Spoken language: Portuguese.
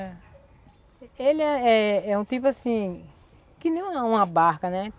É... Ele é é um tipo assim... Que nem uma barca, né?